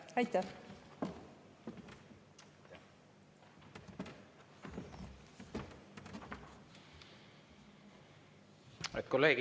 Aitäh!